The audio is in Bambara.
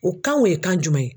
O kan o ye kan jumɛn ye?